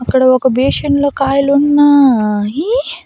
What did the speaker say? అక్కడ ఒక బెషన్లో కాయలు ఉన్నాయి.